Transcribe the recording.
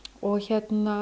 og